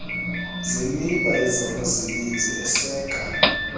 zemiba yezabasebenzi aseka